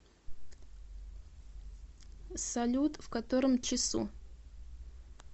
салют в котором часу